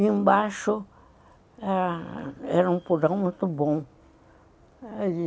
E embaixo era um purão muito bom.